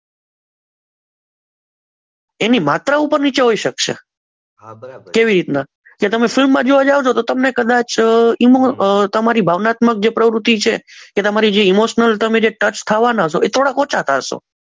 એની માત્રા ઉપર નીચે હોઈ શકશે હા બરાબર કેવી રીતના કે તમે ફિલ્મમાં જોવા જાવ તો તમને કદાચ તમારી ભાવનાત્મક જે પ્રવૃત્તિ છે એ તમારી જે ઈમોશનલ ટચ થવાના છો એ થોડા ઓછા થાશો.